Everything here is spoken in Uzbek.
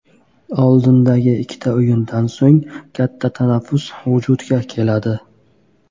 Oldindagi ikkita o‘yindan so‘ng katta tanaffus vujudga keladi.